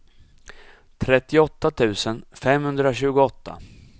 trettioåtta tusen femhundratjugoåtta